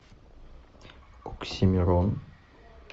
оксимирон